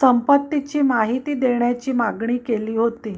संपत्तीची माहिती देण्याची मागणी केली होती